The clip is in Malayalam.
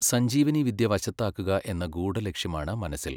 സഞ്ജീവനി വിദ്യ വശത്താക്കുക എന്ന ഗൂഢലക്ഷ്യമാണ് മനസ്സിൽ .